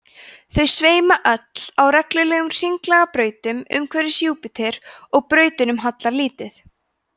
þau sveima öll á reglulegum hringlaga brautum umhverfis júpíter og brautunum hallar lítið